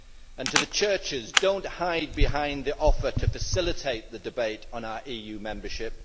And to the churches don't hide behind the offer to facilitate the debate on our EU membership.